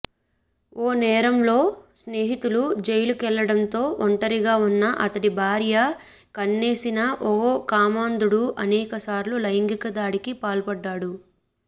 ఓ నేరంలో స్నేహితులు జైలుకెళ్లడంతో ఒంటరిగా ఉన్న అతడి భార్య కన్నేసిన ఓ కామాంధుడు అనేకసార్లు లైంగిక దాడికి పాల్పడ్డాడు